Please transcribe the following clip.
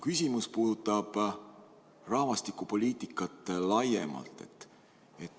Mu küsimus puudutab rahvastikupoliitikat laiemalt.